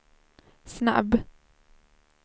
snabb